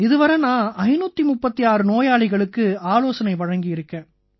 இதுவரை நான் 536 நோயாளிகளுக்கு ஆலோசனை வழங்கியிருக்கேன்